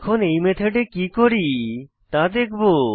এখন এই মেথডে কি করি তা দেখবো